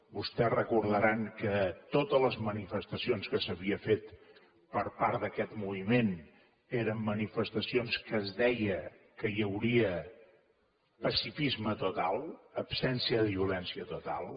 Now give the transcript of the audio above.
vostès deuen recordar que totes les manifestacions que s’havien fet per part d’aquest moviment eren manifestacions que es deia que hi hauria pacifisme total absència de violència total